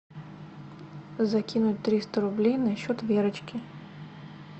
закинуть триста рублей на счет верочки